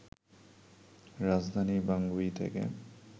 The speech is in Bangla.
রাজধানী বাঙ্গুই থেকে